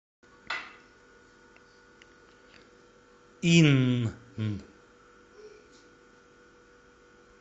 инн